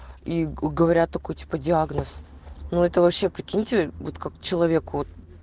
и говорят такой типа диагноз но это вообще прикиньте будет как человеку